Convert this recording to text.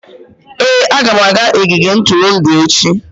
Ee, aga m aga ogige ntụrụndụ echi.